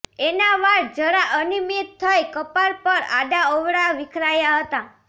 એના વાળ જરા અનિયમિત થઈ કપાળ પર આડા અવળા વિખરાયા હતા